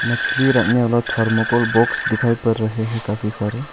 मछली रखने वाला थर्मोकोल बॉक्स दिखाई पर रहें हैं काफ़ी सारे।